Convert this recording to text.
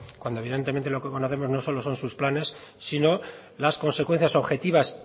cuando evidentemente lo que conocemos no solo son sus planes sino las consecuencias objetivas